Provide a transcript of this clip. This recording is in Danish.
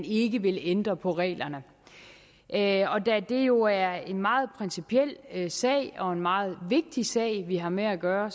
ikke vil ændre på reglerne da det jo er en meget principiel sag og en meget vigtig sag vi har med at gøre